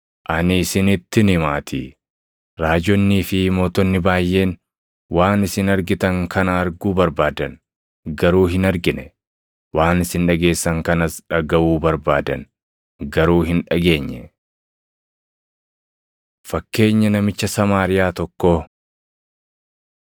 Ani isinittin himaatii raajonnii fi mootonni baayʼeen waan isin argitan kana arguu barbaadan; garuu hin argine. Waan isin dhageessan kanas dhagaʼuu barbaadan; garuu hin dhageenye.” Fakkeenya Namicha Samaariyaa Tokkoo 10:25‑28 kwf – Mat 22:34‑40; Mar 12:28‑31